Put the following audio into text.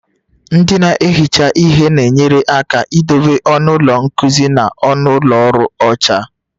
Ndị na-ehicha ihe na-enyere aka idobe ọnụ ụlọ nkuzi na ụlọ ọrụ dị ọcha